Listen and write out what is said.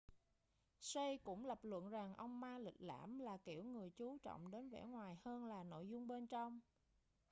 hsieh cũng lập luận rằng ông ma lịch lãm là kiểu người chú trọng đến vẻ bề ngoài hơn là nội dung bên trong